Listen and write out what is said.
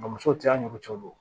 Nga musow tɛ an ni ɲɔgɔn cɛ o